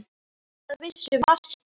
Upp að vissu marki.